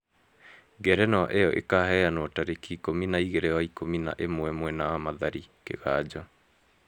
Ngerenwa ĩyo ĩkaheanwo tarĩki ikũmi na igĩrĩ wa ikumi na ĩmwe mwena wa mathari, kiganjo